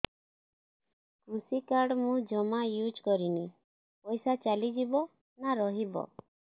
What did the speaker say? କୃଷି କାର୍ଡ ମୁଁ ଜମା ୟୁଜ଼ କରିନି ପଇସା ଚାଲିଯିବ ନା ରହିବ